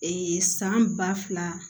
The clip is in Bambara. san ba fila